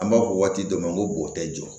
An b'a fɔ waati dɔ ma n ko boo tɛ jɔ